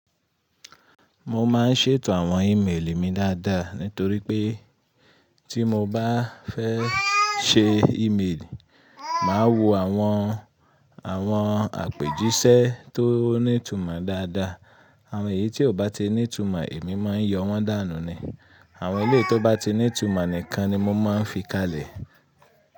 Mo máa ń ṣètò àwọn ìméèlì mi dáadáa nítorí pé tí mo bá fẹ́ ṣe ìméèlì, màá wo àwọn àwọn àpèjíṣẹ́ tó ní ìtumọ̀ dáadáa. Àwọn ẹ̀yí tí ò bá tí ní ìtumọ̀ èmi máa ń yọ wọ́n dànù ni. Àwọn eléyíì tó bá ti ní ìtumọ̀ nìkan ni mo máa ń fi ka lẹ̀.